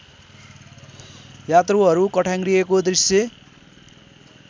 यात्रुहरू कठ्याङ्ग्रिएको दृश्य